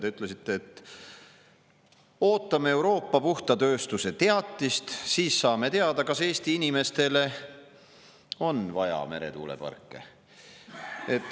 Te ütlesite, et ootame Euroopa puhta tööstuse teatist, sest siis saame teada, kas Eesti inimestele on vaja meretuuleparke.